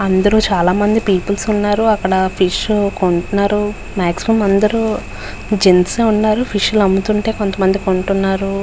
అందరూ చాలా మంది పీపుల్స్ ఉన్నారు. అక్కడ ఫిష్ కొంటున్నారు. మాక్సీమం అందరూ జెంట్స్ యే ఉన్నారు. ఫిష్ లు అమ్ముతుంటే కొంతమంది కొంటున్నారు.